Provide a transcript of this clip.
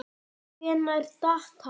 Hvenær datt hann?